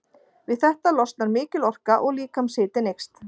Við þetta losnar mikil orka og líkamshitinn eykst.